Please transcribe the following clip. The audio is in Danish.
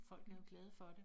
Folk er jo glade for det